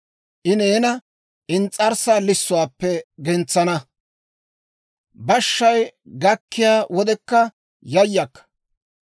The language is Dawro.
I neena ins's'arssaa lissuwaappe gentsana; bashshay gakkiyaa wodekka yayakka.